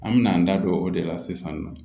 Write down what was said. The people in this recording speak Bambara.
An mɛna an da don o de la sisan nɔ